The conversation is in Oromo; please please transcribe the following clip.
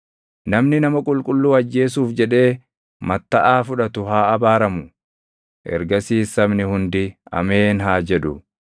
“Namni nama qulqulluu ajjeesuuf jedhee mattaʼaa fudhatu haa abaaramu.” Ergasiis sabni hundi, “Ameen!” haa jedhu.